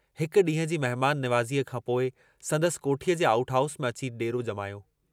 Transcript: हिक डींहं जी महमान निवाज़ीअ खां पोइ संदसि कोठीअ जे आउट हाउस में अची देरो जमायो।